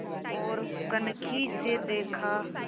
ओर कनखी से देखा